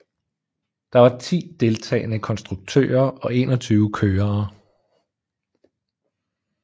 Der var ti deltagende konstruktører og enogtyve kørere